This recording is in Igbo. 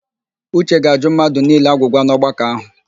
Uche ga-ajụ mmadụ niile agwụgwa n'ọgbakọ ahụ.